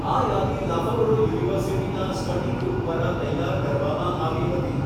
આ યાદી લાફબરો યુનિવર્સિટીના સ્ટડી ગ્રૂપ દ્વારા તૈયાર કરવામાં આવી હતી.